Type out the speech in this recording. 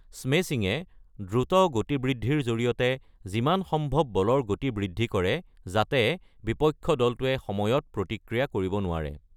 স্মেশ্বিঙে দ্ৰুত গতিবৃদ্ধিৰ জৰিয়তে যিমান সম্ভব বলৰ গতি বৃদ্ধি কৰে যাতে বিপক্ষ দলটোৱে সময়ত প্ৰতিক্ৰিয়া কৰিব নোৱাৰে।